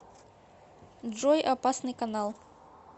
джой опасный канал